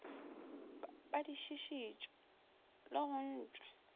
badišiši tšwe le go ntšwa